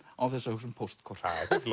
án þess að hugsa um póstkort